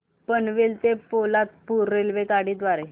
पनवेल ते पोलादपूर रेल्वेगाडी द्वारे